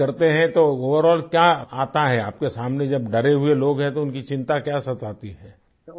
तो जब आप बात करते हैं तो ओवरॉल क्या आता है आपके सामने जब डरे हुए लोग हैं तो इनकी चिंता क्या सताती है